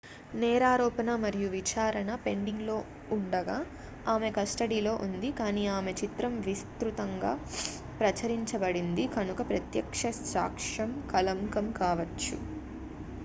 నేరారోపణ మరియు విచారణ పెండింగ్లో ఉండగా ఆమె కస్టడీలో ఉంది కానీ ఆమె చిత్రం విస్తృతంగా ప్రచురించబడింది కనుక ప్రత్యక్ష సాక్ష్యం కళంకం కావచ్చు